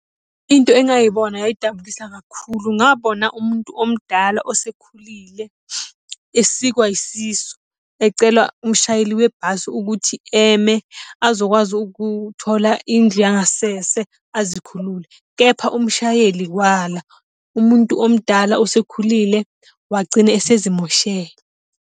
Into engayibona yayidabukisa kakhulu. Ngabona umuntu omdala osekhulile esikwa yisisu ecela umshayeli webhasi ukuthi eme azokwazi ukuthola indlu yangasese azikhulule kepha umshayeli wala, umuntu omdala osekhulile wagcina esizimoshele.